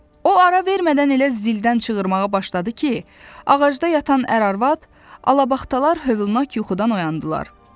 O ara vermədən elə zildən çığırmağa başladı ki, ağacda yatan ər-arvad, alabaxtalar həvənak yuxudan oyandılar.